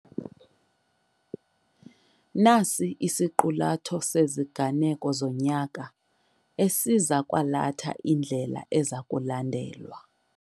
Nasi isiqulatho seziganeko zonyaka esiza kwalatha indlela eza kulandelwa.